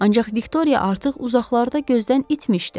Ancaq Viktoriya artıq uzaqlarda gözdən itmişdi.